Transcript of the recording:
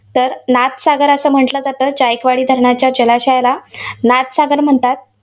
तर नाथसागर असं म्हटलं जातं. तर जायकवाडी धरणाच्या जलाशयाला नाथसागर म्हणतात.